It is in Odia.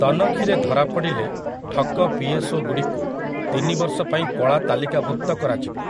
ତନଖିରେ ଧରାପଡ଼ିଲେ ଠକ ପି.ଏସ୍.ଓ.ଗୁଡ଼ିକୁ ତିନିବର୍ଷ ପାଇଁ କଳା ତାଲିକାଭୁକ୍ତ କରାଯିବ ।